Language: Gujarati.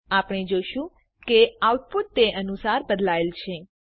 આપણે જોશું કે આઉટપુટ તે અનુસાર બદલાયેલ છે